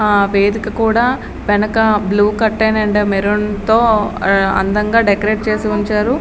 ఆ వేదిక కూడా వెనక బ్లూ కర్టెన్ అండ్ మెరూన్ తో అందంగా డెకరేట్ చేసి ఉంచారు.